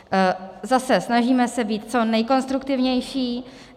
Zase se snažíme být co nejkonstruktivnější.